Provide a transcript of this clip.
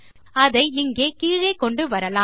அதை இங்கே கீழே கொண்டுவரலாம்